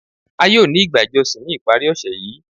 A yóò ni igbá ijọsin ni iparí òṣè yìí.